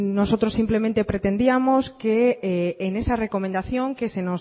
nosotros simplemente pretendíamos que en esa recomendación que se